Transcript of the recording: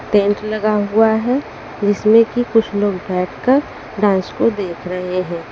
Tent लगा हुआ है जिसमें कि कुछ लोग बैठकर डांस को देख रहे हैं।